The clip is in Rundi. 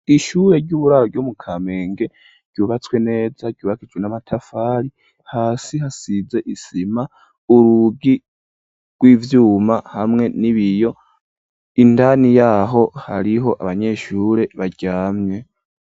Ishure ry'uburaro ryo mu Kamenge ryubatswe neza ryubakishijwe n'amatafari, hasi hasize isima urugi rw'ivyuma hamwe n'ibiyo indani yaho hariho abanyeshure baryamye.